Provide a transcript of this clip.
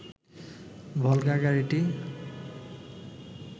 ভলগা গাড়িটি